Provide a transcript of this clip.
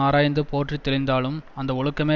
ஆராய்ந்து போற்றித் தெளிந்தாலும் அந்த ஒழுக்கமே